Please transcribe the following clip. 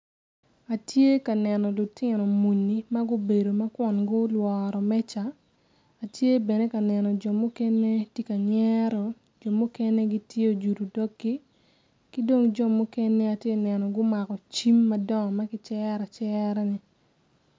Atye ka neno lutino muni ma gubedo kun gulworo meja atye bene ka neno jo mukene gitye kanyero jo mukene tye ojudo doggi ki dong jo mukene gumako cim madongo ma kicero acerani.